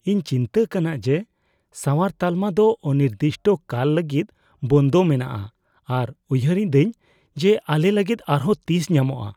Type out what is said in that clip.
ᱤᱧ ᱪᱤᱱᱛᱟᱹᱜ ᱠᱟᱱᱟ ᱡᱮ ᱥᱟᱶᱟᱨ ᱛᱟᱞᱢᱟ ᱫᱚ ᱚᱱᱤᱨᱫᱤᱥᱴᱚ ᱠᱟᱞ ᱞᱟᱹᱜᱤᱫ ᱵᱚᱱᱫᱚ ᱢᱮᱱᱟᱜᱼᱟ ᱟᱨ ᱩᱭᱦᱟᱹᱨ ᱤᱫᱟᱹᱧ ᱡᱮ ᱟᱞᱮ ᱞᱟᱹᱜᱤᱫ ᱟᱨᱦᱚᱸ ᱛᱤᱥ ᱧᱟᱢᱚᱜᱼᱟ ᱾